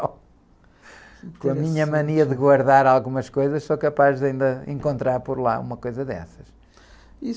Com a minha mania de guardar algumas coisas, sou capaz de ainda encontrar por lá uma coisa dessas.